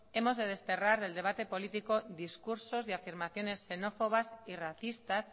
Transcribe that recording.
hemos de desterrar del debate político discursos y afirmaciones xenófobas y racistas